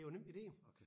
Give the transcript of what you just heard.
Det jo nemlig det jo